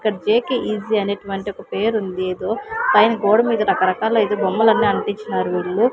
ఇక్కడ జేకెఈజీ అనేటటువంటి ఒక పేరు ఉంది ఏదో పైన గోడ మీద రకరకాల అయితే బొమ్మలు అన్ని అట్టించారు వీళ్ళు.